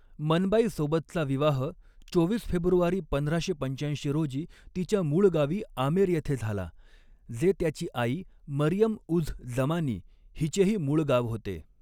मनबाई सोबतचा विवाह चोवीस फेब्रुवारी पंधराशे पंचाऐंशी रोजी तिच्या मूळ गावी आमेर येथे झाला, जे त्याची आई मरियम उझ जमानी हिचेही मूळ गाव होते.